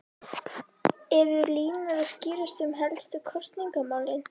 En eru línur að skýrast um helstu kosningamálin?